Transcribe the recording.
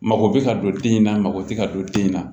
Mako bɛ ka don den in na mako tɛ ka don den in na